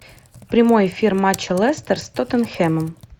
прямой эфир матча лестер с тоттенхэмом